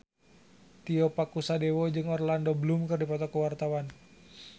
Tio Pakusadewo jeung Orlando Bloom keur dipoto ku wartawan